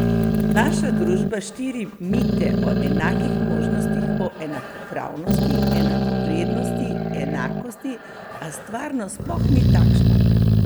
Naša družba širi mite o enakih možnostih, o enakopravnosti, enakovrednosti, enakosti, a stvarnost sploh ni takšna.